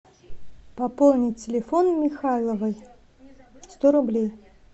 пополнить телефон михайловой сто рублей